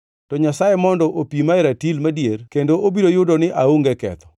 to Nyasaye mondo opima e ratil madier kendo obiro yudo ni aonge ketho,